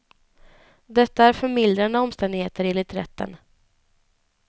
Detta är förmildrande omständigheter, enligt rätten.